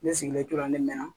Ne sigilen tora ne mɛna